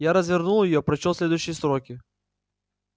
я развернул её прочёл следующие строки